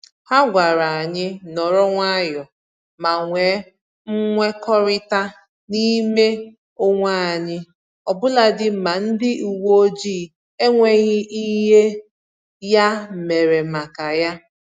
Ha gwara anyị nọrọ nwayọọ ma nwe mkwekọrịta n'ime onwe anyị ọbụladị ma ndị uwe ojii enweghị ihe ya mere maka ya